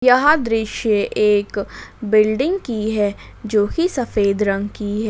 यह दृश्य एक बिल्डिंग की है जो की सफेद रंग की है।